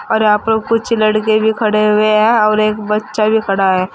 और यहां पर कुछ लड़के भी खड़े हुए हैं और एक बच्चा भी खड़ा है।